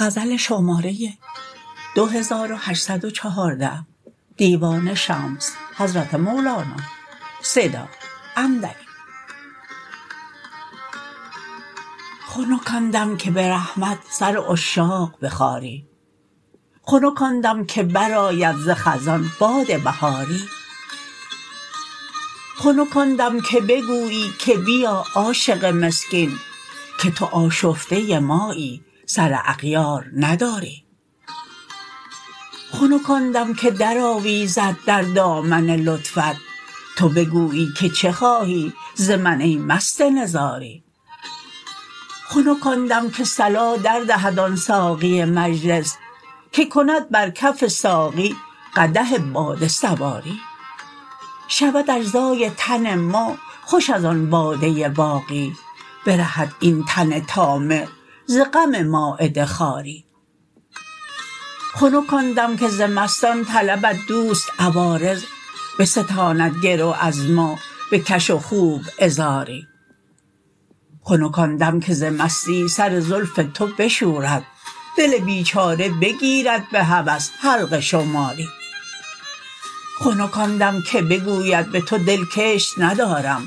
خنک آن دم که به رحمت سر عشاق بخاری خنک آن دم که برآید ز خزان باد بهاری خنک آن دم که بگویی که بیا عاشق مسکین که تو آشفته مایی سر اغیار نداری خنک آن دم که درآویزد در دامن لطفت تو بگویی که چه خواهی ز من ای مست نزاری خنک آن دم که صلا در دهد آن ساقی مجلس که کند بر کف ساقی قدح باده سواری شود اجزای تن ما خوش از آن باده باقی برهد این تن طامع ز غم مایده خواری خنک آن دم که ز مستان طلبد دوست عوارض بستاند گرو از ما بکش و خوب عذاری خنک آن دم که ز مستی سر زلف تو بشورد دل بیچاره بگیرد به هوس حلقه شماری خنک آن دم که بگوید به تو دل کشت ندارم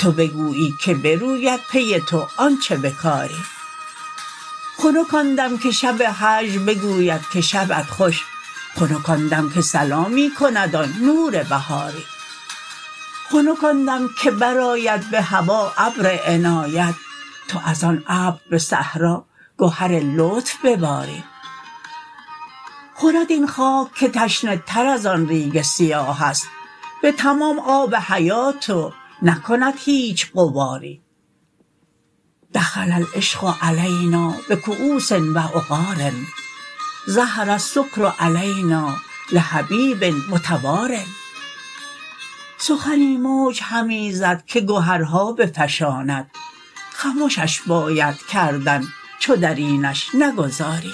تو بگویی که بروید پی تو آنچ بکاری خنک آن دم که شب هجر بگوید که شبت خوش خنک آن دم که سلامی کند آن نور بهاری خنک آن دم که برآید به هوا ابر عنایت تو از آن ابر به صحرا گهر لطف بباری خورد این خاک که تشنه تر از آن ریگ سیاه است به تمام آب حیات و نکند هیچ غباری دخل العشق علینا بکؤوس و عقار ظهر السکر علینا لحبیب متوار سخنی موج همی زد که گهرها بفشاند خمشش باید کردن چو در اینش نگذاری